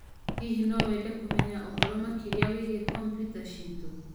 Hihi no wende kũmenya ũhoro makĩria wĩgiĩ kompyuta citũ?